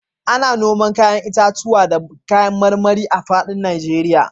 Ana noman 'ya'yan itatuwa da kayan marmari a fadin Najeriya